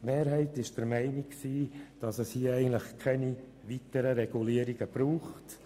Die Mehrheit ist der Meinung, dass es keine weiteren Regulierungen braucht;